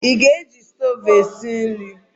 I ga-eji stoovú wee sie nri?